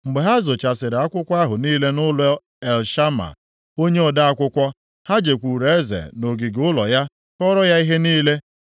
Mgbe ha zochasịrị akwụkwọ ahụ nʼọnụụlọ Elishama onye ode akwụkwọ, ha jekwuuru eze nʼogige ụlọ ya kọọrọ ya ihe niile.